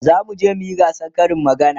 zamu je muyi gasan Karin magana